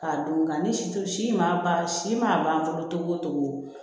K'a don nka ni situ si ma ban si man ban fɔlɔ tɔgɔ